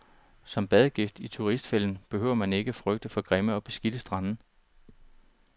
Som badegæst i turistfælden behøver man ikke frygte for grimme og beskidte strande.